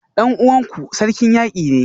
Dan uwanku Sarkin Yaki ne?